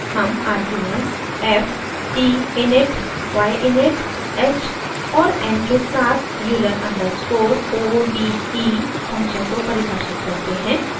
हम arguments f t init y init h और n के साथ euler underscore o d e function को परिभाषित करते हैं